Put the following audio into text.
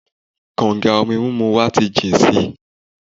Kànga omi mímu wa ti jìn si.